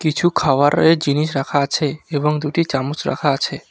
কিছু খাওয়ারের জিনিস রাখা আছে এবং দুটি চামচ রাখা আছে।